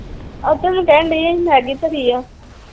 ਕਹਿਣ ਡਈ ਮੈਗੀ ਧਰੀ ਆ।